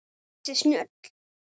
Ansi snjöll!